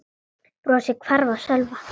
Brosið hvarf af Sölva.